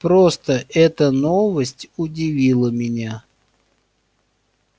просто эта новость удивила меня